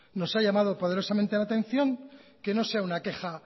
nos ha llamado poderosamente la atención que no sea una queja